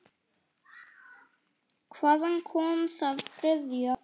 Hvaðan kom það þriðja?